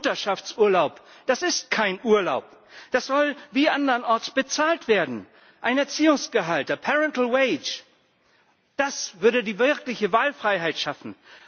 Mutterschaftsurlaub, das ist kein Urlaub. Das soll wie andernorts bezahlt werden. Ein Erziehungsgehalt, a parental wage Das würde die wirkliche Wahlfreiheit schaffen.